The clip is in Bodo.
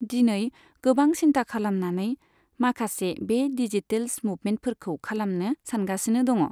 दिनै गोबां सिन्था खालामानानै माखासे बे डिजिटेल्स मुभमेन्टफोरखौ खालामनो सानगासिनो दङ।